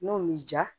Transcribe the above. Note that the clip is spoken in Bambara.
N'o b'i diya